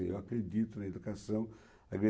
Eu acredito na educação,